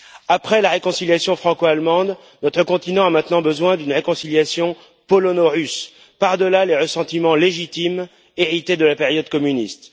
Après la réconciliation franco allemande, notre continent a maintenant besoin d'une réconciliation polono russe, par delà les ressentiments légitimes hérités de la période communiste.